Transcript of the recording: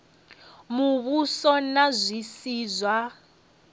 muvhuso na zwi si zwa